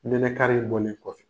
Nɛnɛkari be bɔ min kɔfɛ.